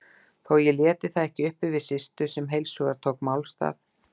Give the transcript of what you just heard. Þó ég léti það ekki uppi við Systu, sem heilshugar tók málstað